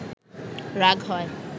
রাগ হয়